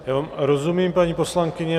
Já vám rozumím, paní poslankyně.